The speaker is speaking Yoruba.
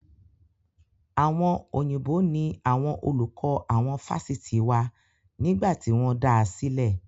Àwọn Òyìnbó ní àwọn olùkọ́ àwọn Fásitì wa nígbà tí wọ́n dáa sílè.